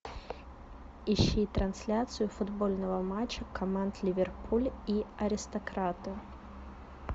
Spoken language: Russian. ищи трансляцию футбольного матча команд ливерпуль и аристократы